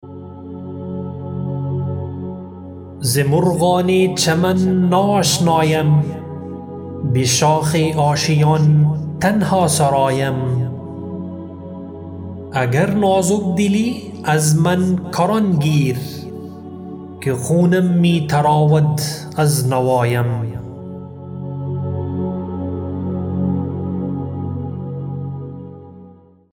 ز مرغان چمن نا آشنایم به شاخ آشیان تنها سرایم اگر نازک دلی از من کران گیر که خونم می تراود از نوایم